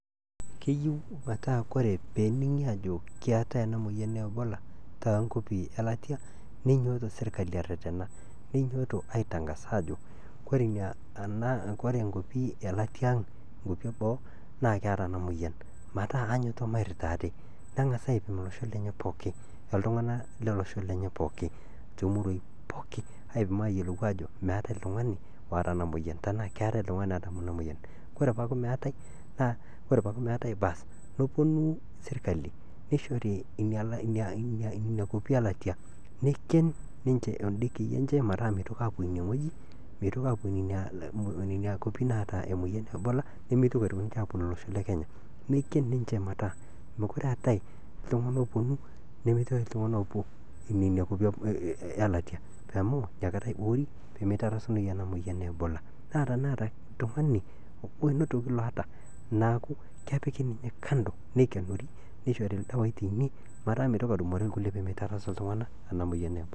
Keyieu metaa kore peening'i aajo ena moyian e ebola te nkwapi elatia neinyooto serikali aaretena, neinyooto aitangas aajo kore nkwapi elatiaa aang' enkwapi eboo naa keeta ena emoyian metaa enyoito mairita ate, nengas aipim losho lenye pookin, oltungana le losho lenye pookin te muruaai pookini aipim aayolou aajo meetai ltungani oota ena emoyian, ore tenaa keatai, kore peaku meatai baas neponu serikali neishori ina kwapii elatia neiken ninche endekii enche metaa meitoki aapo ineweji, meitoki aapo nenia nkwapi naata nenia moyian e ebola nemeitoki aitoki ninche aaponu losho le kenya neiken ninche metaa mekure eatai ltungana ooponu nemeatae ltungana oopo nenia nkopi eelatia amuu inakata eibooi pemeitarasunoi ana emoyian e ebola naa teneeta oltungani obo onotoki ninye oota neaku kepiki ninye kando neikenori neishori ninye ldawaii teine metaa meitoki atumore lkule pemeitarasu ltungana ena imoyian e ebola.